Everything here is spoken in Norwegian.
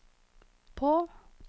på